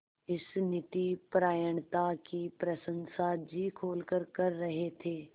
इस नीतिपरायणता की प्रशंसा जी खोलकर कर रहे थे